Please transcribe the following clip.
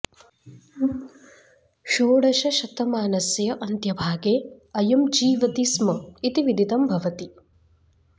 षोडशशतमानस्य अन्त्यभागे अयं जीवति स्म इति विदितं भवति